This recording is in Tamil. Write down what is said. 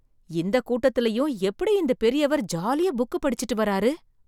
இந்த கூட்டத்துலயும் எப்படி இந்த பெரியவர் ஜாலியா புக்கு படிச்சுட்டு வர்றாரு ?